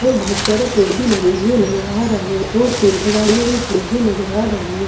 और बोहोत सारे पेड़ भी लगे हुए नज़र आ रहे हैं और केन्ता गाड़ियां भी पड़ी हुई नज़र आ रही हैं ।